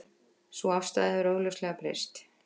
Sú afstaða hefur augljóslega breyst